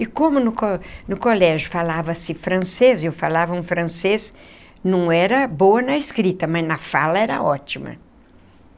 E como no co no colégio falava-se francês, eu falava um francês, não era boa na escrita, mas na fala era ótima.